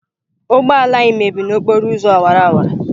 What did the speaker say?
Ụgbọ ala anyị mebịrị n'okporo ụzọ awara awara.